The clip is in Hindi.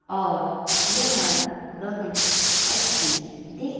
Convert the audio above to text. और यह बहुत अच्छी दि--